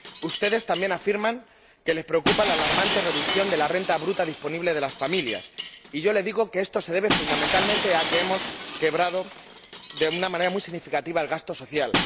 Ustedes también afirman que les preocupa la alarmante reducción de la renta bruta disponible de las familias y yo les digo que esto se debe, fundamentalmente, a que hemos quebrado, de una manera muy significativa, el gasto social.